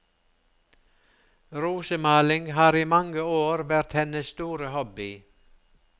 Rosemaling har i mange år vært hennes store hobby.